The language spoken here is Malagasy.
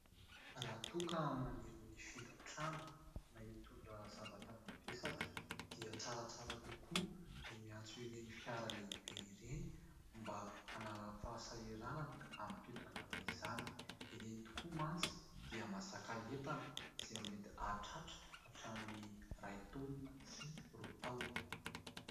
Raha toa ka maniry ny hifindra trano na hitondra zavatra mavesatra dia tsaratsara kokoa ny miantso ireny fiara lehibe ireny, mba hanala fahasahiranana amin'ny fitondrana izany. Ireny tokoa mantsy dia mahazaka entana izay mety hahatratra hatramin'ny iray taonina sy roa taonina.